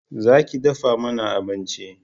Za ki dafa mana abinci!